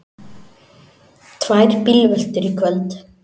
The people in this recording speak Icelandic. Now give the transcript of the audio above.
Tvær bílveltur í kvöld